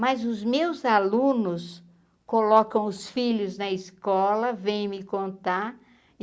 Mas os meus alunos colocam os filhos na escola, vem me contar.